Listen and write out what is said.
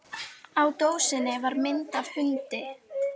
Á dósinni var mynd af hundi.